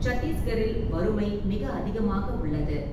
சத்தீஸ்கரில் வறுமை மிக அதிகமாக உள்ளது.